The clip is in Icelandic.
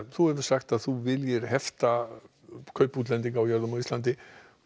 þú hefur sagt að þú viljir hefta kaup útlendinga á jörðum á Íslandi